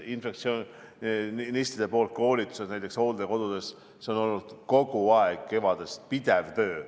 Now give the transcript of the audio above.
Infektsionistide koolitused näiteks hooldekodudes – see on olnud kevadest kogu aeg pidev töö.